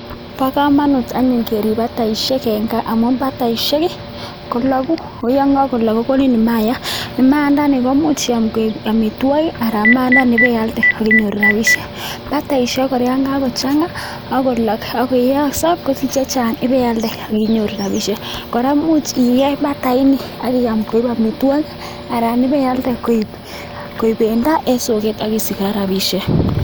bo komonut anyun kerib bataisiek en kaa amun bataisiek ii kologu ako yon kakolok kokonin mayat, maayandani komuch iyan koik omiywokik anan maayandani iib ibealde ak inyoru rabisiek, bataisiek kora yan kakochanga ak kolok ak koiyoso kosich chechang ibealde ak inyoru rabisiek, kora imuch iyeny bataini ak iyam koik omitwogik anan ibealde koik bendo en soket ak isich kora rabisik.